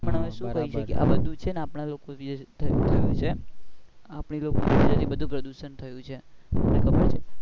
પણ હવે સુ કરીયે શકીયે આ બધું છે ને આપણા લોકો લીધે જ થાઊં આપણા લોકો લીધે જ પ્રદુશન થયુ છે.